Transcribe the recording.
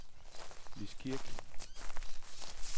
Lis Kirk